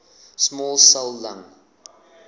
small cell lung